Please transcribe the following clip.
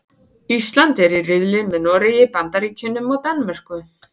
Ísland er í riðli með Noregi, Bandaríkjunum og Danmörku.